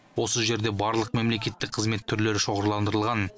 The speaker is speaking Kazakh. осы жерде барлық мемлекеттік қызмет түрлері шоғырландырылған